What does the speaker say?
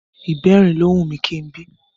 Ìbẹrin ló wù mí kí n bí